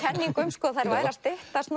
um að þær væru að styttast